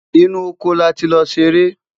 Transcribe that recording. inú ọkọ láti ló seré